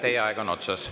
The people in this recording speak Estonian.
Teie aeg on otsas.